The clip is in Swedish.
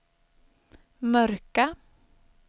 mörka